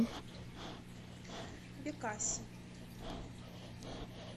бекаси